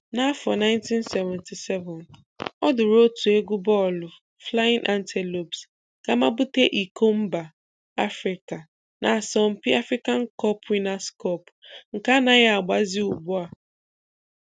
N'afọ 1977, o duuru otu egwu bọọlụ Flying Antelopes gaa mabute iko mba Afrịka n'asọmpi African Cup Winners Cup nke anaghị agbazi ugbu a.